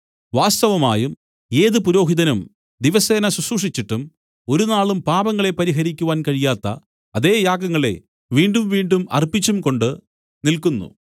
വാസ്തവമായും ഏത് പുരോഹിതനും ദിവസേന ശുശ്രൂഷിച്ചിട്ടും ഒരുനാളും പാപങ്ങളെ പരിഹരിപ്പാൻ കഴിയാത്ത അതേ യാഗങ്ങളെ വീണ്ടുംവീണ്ടും അർപ്പിച്ചും കൊണ്ട് നില്ക്കുന്നു